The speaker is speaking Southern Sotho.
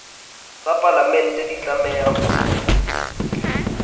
tsa palamente di tlameha ho